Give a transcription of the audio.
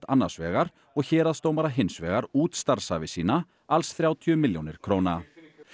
annars vegar og héraðsdómara hins vegar út starfsævi sína alls þrjátíu milljónir króna